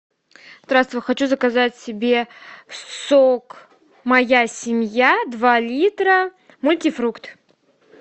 здравствуй хочу заказать себе сок моя семья два литра мультифрукт